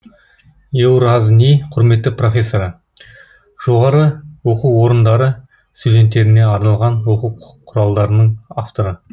еуразни құрметті профессоры жоғары оқу орындары студенттеріне арналған оқу құралдарының авторы